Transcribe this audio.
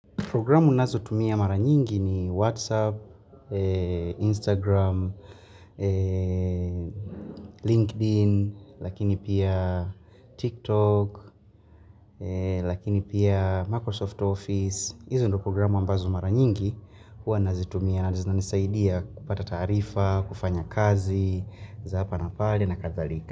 Programu nazotumia mara nyingi ni WhatsApp, Instagram, LinkedIn, lakini pia TikTok, lakini pia Microsoft Office. Hizo ndio programu ambazo mara nyingi huwa nazitumia zinanisaidia kupata taarifa, kufanya kazi za hapa na pale na kadhalika.